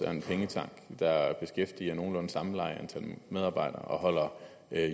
der beskæftiger nogenlunde samme antal medarbejdere og holder